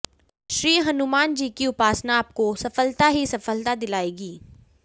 श्री हनुमान जी की उपासना आपको सफलता ही सफलता दिलाएगी